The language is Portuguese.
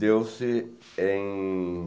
deu-se em